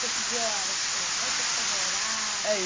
Cotidiana, assim, onde você foi morar?